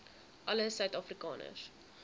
alle suid afrikaners